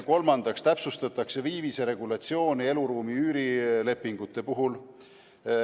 Kolmandaks täpsustatakse viivise regulatsiooni eluruumi üürilepingute puhul.